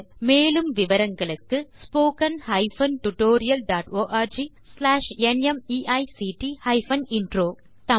மேலும் விவரங்களுக்கு spoken hyphen tutorial dot org slash நிமைக்ட் ஹைபன் இன்ட்ரோ மூல பாடம் தேசி க்ரூ சொலூஷன்ஸ்